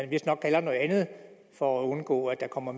vistnok kalder noget andet for at undgå at der kommer